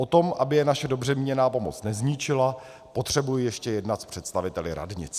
O tom, aby je naše dobře míněná pomoc nezničila, potřebuji ještě jednat s představiteli radnic.